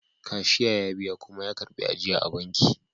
Cashier ya biya kuma ya karbi ajiya a banki